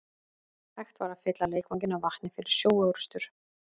Hægt var að fylla leikvanginn af vatni fyrir sjóorrustur.